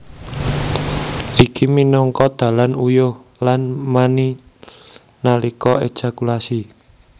Iki minangka dalan uyuh lan mani nalika ejakulasi